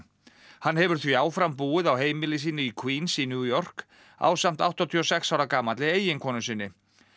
hann hefur því áfram búið á heimili sínu í Queens í New York ásamt áttatíu og sex ára gamalli eiginkonu sinni